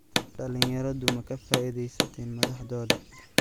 Dhalinyaradu ma ka faa'iideysteen madaxdooda?